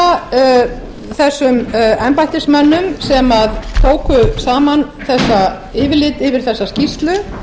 vil þakka þessum embættismönnum sem tóku saman þetta yfirlit yfir þessa skýrslu